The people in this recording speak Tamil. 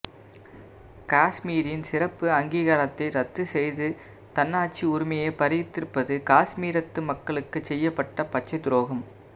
காஷ்மீரின் சிறப்பு அங்கீகாரத்தை ரத்துச் செய்து தன்னாட்சி உரிமையைப் பறித்திருப்பது காஷ்மீரத்து மக்களுக்குச் செய்யப்பட்ட பச்சைத்துரோகம்